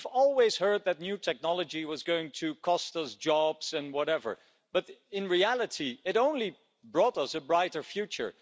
We've always heard that new technology was going to cost us jobs and whatever, but in reality it only brought us a brighter future.